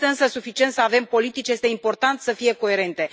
Nu este însă suficient să avem politici, este important să fie coerente.